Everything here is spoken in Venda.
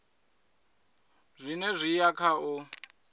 zwone zwi ya kha u